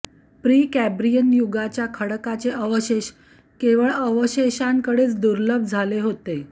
Precambrian युगाच्या खडकाचे अवशेष केवळ अवशेषांकडेच दुर्लभ झाले होते